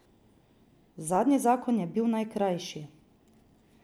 Zadnji zakon je bil najkrajši.